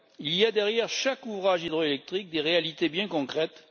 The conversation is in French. Il y a derrière chaque ouvrage hydroélectrique des réalités bien concrètes.